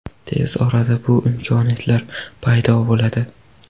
Tez orada bu imkoniyatlar paydo bo‘ladi.